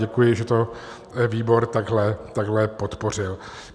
Děkuji, že to výbor takhle podpořil.